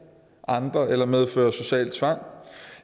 andre eller medfører social tvang